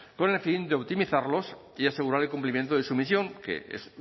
con el fin de optimizarlos y asegurar el cumplimiento de su misión que es